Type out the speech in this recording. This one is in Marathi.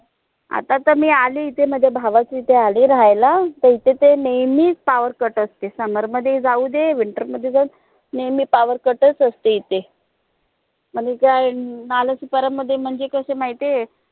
आता त मी अली इथे माझ्या भावाच्या इथे आलीय राहायला त इथे त नेहमीच power cut असते summer मध्ये जाऊदे winter जाऊदे नेहमी power cut च असते इथे नालासोपारा मध्ये म्हणजे कस माहितीय